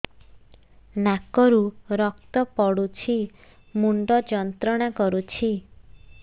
ନାକ ରୁ ରକ୍ତ ପଡ଼ୁଛି ମୁଣ୍ଡ ଯନ୍ତ୍ରଣା କରୁଛି